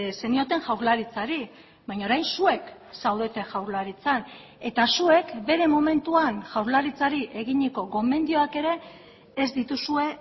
zenioten jaurlaritzari baina orain zuek zaudete jaurlaritzan eta zuek bere momentuan jaurlaritzari eginiko gomendioak ere ez dituzue